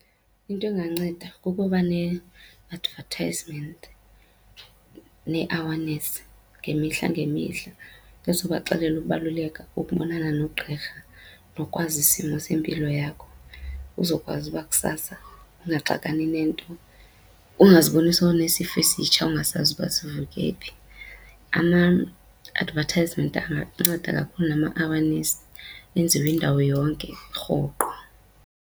Into enganceda kukuba ne-advertisement nee-awareness ngemihla ngemihla ezobaxelela ukubaluleka kokubonana nogqirha nokwazi isimo sempilo yakho uzokwazi uba kusasa ungaxakani nento. Ungaziboni sowunesifo esitsha ungasazi uba sivuke phi. Ama-advertisment anganceda kakhulu nama-awareness, enziwe indawo yonke rhoqo.